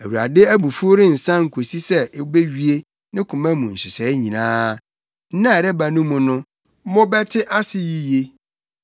Awurade abufuw rensan kosi sɛ obewie ne koma mu nhyehyɛe nyinaa. Nna a ɛreba no mu no mobɛte ase yiye.